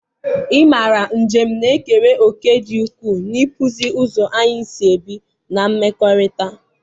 ị mara, njem na-ekere òkè dị ukwuu n'ịkpụzi ụzọ anyị si ebi na mmekọrịta.